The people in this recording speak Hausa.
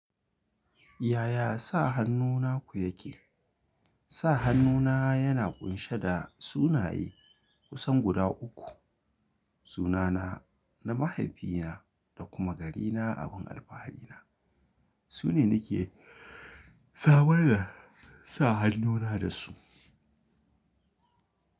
Yaya sa hannu naku yake? Sa hannuna yana ƙunshe da sunaye kusan guda uku. Sunana, na mahaifina da kuma garina abun alfahari na. Su ne ni ke saboda sa hannuna da su.